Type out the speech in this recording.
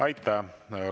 Aitäh!